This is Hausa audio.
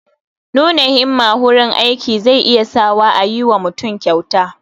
Nuna himmaa wurin aiki zai iya sa wa a yi wa mutum kyauta